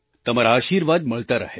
તમારા આશિર્વાદ મળતા રહે